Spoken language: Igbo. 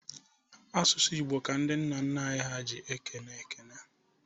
Asụsụ Igbo ka ndị nna nna anyị ha ji ekene.